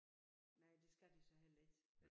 Nej det skal de så heller ikke